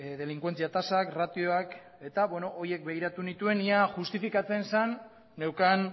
delinkuentzia tasak ratioak eta horiek begiratu nituen ea justifikatzen zen neukan